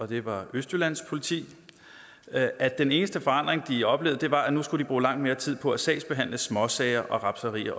det var østjyllands politi at at den eneste forandring de oplevede var at nu skulle de bruge langt mere tid på at sagsbehandle småsager og rapserier